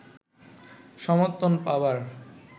সমর্থন পাবার